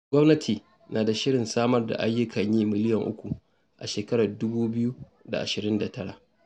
Gwamnati na da shirin samar da ayyukan yi miliyan uku a shekarar dubu biyu da ashirin da tara